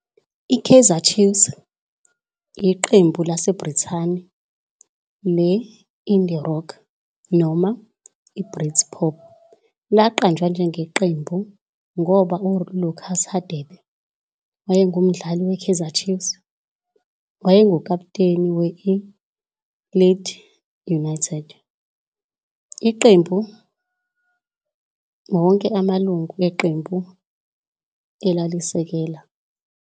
I-Kaizer Chiefs, iqembu laseBrithani le-indie rock noma i-britpop, laqanjwa ngeqembu ngoba ULucas Radebe, owayengumdlali we-Kaizer Chiefs, wayengukaputeni we-I-Leeds United, iqembu wonke amalungu eqembu elalisekela.